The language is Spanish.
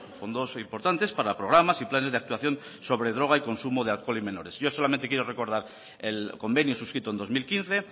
fondos importantes para programas y planes de actuación sobre droga y consumo de alcohol en menores yo solamente quiero recordar el convenio suscrito en dos mil quince